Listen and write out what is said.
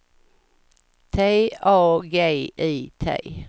T A G I T